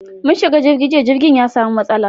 Mun shiga jirgi jiya, jirgin ya samu matsala